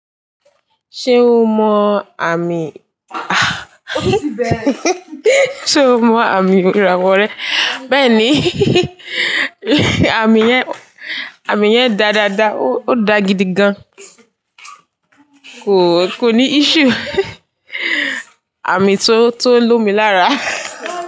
Ṣé o mọ àmì sé o mọ àmì ìràwọ rẹ? Bẹ́ẹ̀ni àmì yẹn, àmì yẹn dáadáadáa, ó ó dá gidi gan. Kò, kò ní issue. Àmì tó, tó lomi lára.